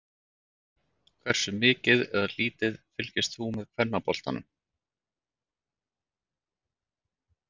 Hversu mikið eða lítið fylgist þú með kvennaboltanum?